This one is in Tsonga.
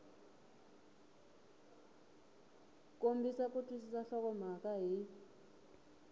kombisa ku twisisa nhlokomhaka hi